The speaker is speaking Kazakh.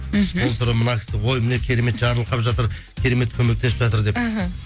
мхм спонсоры мынау кісі ой міне керемет жарылқап жатыр керемет көмектесіп жатыр деп іхі